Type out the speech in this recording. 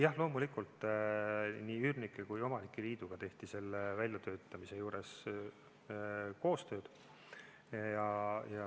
Jah, loomulikult nii üürnike kui ka omanike liiduga tehti selle väljatöötamisel koostööd.